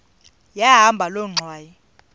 yahamba loo ngxwayi